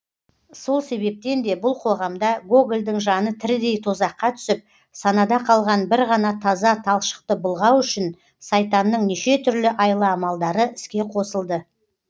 сол себептен де бұл қоғамда гогольдің жаны тірідей тозаққа түсіп санада қалған бір ғана таза талшықты былғау үшін сайтанның неше түрлі айла амалдары іске қосылды